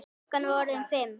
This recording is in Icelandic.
Klukkan var orðin fimm.